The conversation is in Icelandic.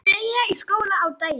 Freyja í skóla á daginn.